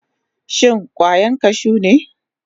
Shin kwayan kashu ne?